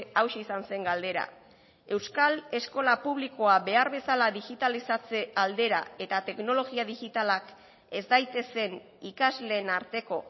hauxe izan zen galdera euskal eskola publikoa behar bezala digitalizatze aldera eta teknologia digitalak ez daitezen ikasleen arteko